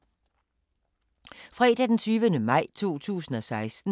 Fredag d. 20. maj 2016